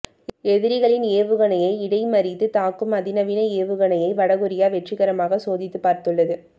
எதிரிகளின் ஏவுகணையை இடைமறித்து தாக்கும் அதிநவீன ஏவுகணையை வடகொரியா வெற்றிகரமாக சோதித்து பார்த்துள்ளது